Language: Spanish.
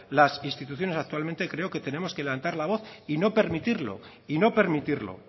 las instituciones actualmente creo que tenemos que levantar la voz y no permitirlo y no permitirlo